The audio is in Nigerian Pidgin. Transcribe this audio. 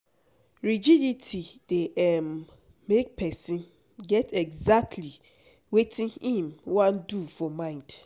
Rigidity dey um make person get exactly wetin im wan do for mind